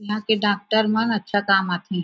यहां के डॉक्टर मन अच्छा काम आथे।